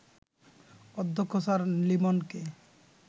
অধ্যক্ষ স্যার লিমনকে